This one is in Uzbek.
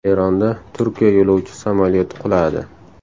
Eronda Turkiya yo‘lovchi samolyoti quladi.